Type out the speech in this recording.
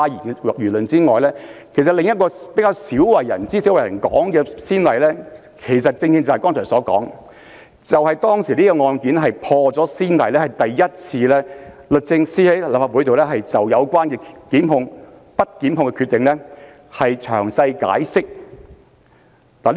但是，在此之前，另一個比較鮮為人知和較少被提及的先例，正是我剛才所說的案例，因當時的律政司破了先例，首次在立法機關就不作檢控的決定作出詳細解釋。